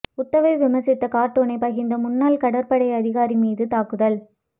உத்தவை விமர்சித்த கார்ட்டூனை பகிர்ந்த முன்னாள் கடற்படை அதிகாரி மீது தாக்குதல்